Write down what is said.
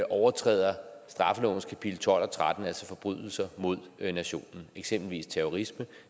overtræder straffelovens kapitel tolv og tretten altså forbrydelser mod nationen eksempelvis terrorisme og